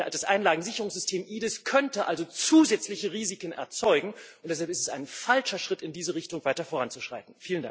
Das Einlagensicherungssystem EDIS, könnte also zusätzliche Risiken erzeugen, und deshalb ist es ein falscher Schritt, in diese Richtung weiter voranzuschreiten.